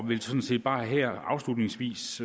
vil sådan set bare her afslutningsvis